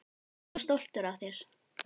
Ég er svo stoltur af þér.